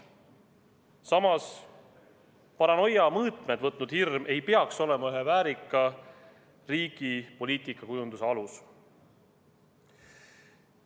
Samas, paranoia mõõtmed võtnud hirm ei peaks olema ühe väärika riigi poliitikakujunduse alus.